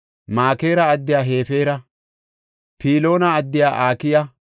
Makeera addiya Hefeera, Piloona addiya Akiya,